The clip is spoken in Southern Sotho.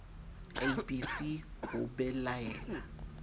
a b c ho belaela